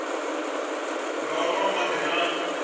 nga u nwa madi na